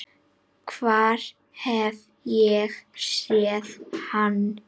Hvar hef ég séð hann?